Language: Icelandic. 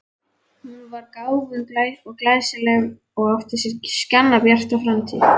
Hún var gáfuð og glæsileg og átti sér skjannabjarta framtíð.